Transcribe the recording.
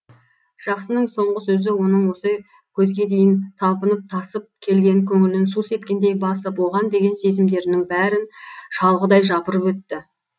жасынның соңғы сөзі оның осы көзге дейін талпынып тасып келген көңілін су сепкендей басып оған деген сезімдерінің бәрін шалғыдай жапырып өтті